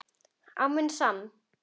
Á minn sann.!